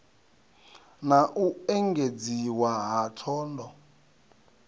na u engedziwa ha thondo